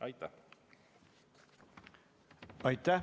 Aitäh!